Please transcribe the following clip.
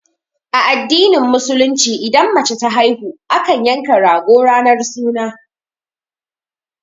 A addinin musulunci idan mace ta haihu, akan yanka rago ranar suna.